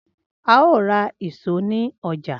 Ao ra ìṣó ni oja.